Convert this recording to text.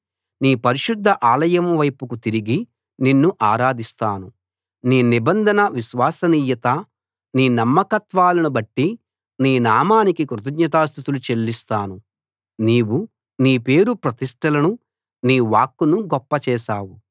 నీ పరిశుద్ధ ఆలయం వైపుకు తిరిగి నిన్ను ఆరాధిస్తాను నీ నిబంధన విశ్వసనీయత నీ నమ్మకత్వాలను బట్టి నీ నామానికి కృతజ్ఞతా స్తుతులు చెల్లిస్తాను నీవు నీ పేరు ప్రతిష్టలను నీ వాక్కును గొప్ప చేశావు